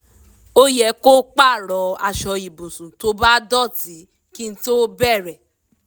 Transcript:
ó yẹ kó pààrọ̀ aṣọ ibùsùn tó bá dọ̀tí kí tó bẹ̀rẹ̀